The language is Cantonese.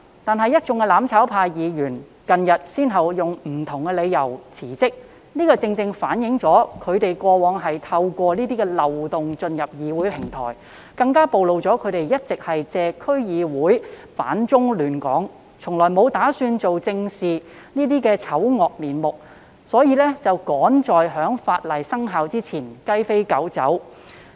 然而，一眾"攬炒派"區議員近日先後以不同理由辭職，這正好反映他們過往透過漏洞進入議會平台，更暴露了他們一直以來借區議會"反中亂港"、從來沒有打算做正事的醜惡面目，所以才趕在新法例生效前"雞飛狗走"。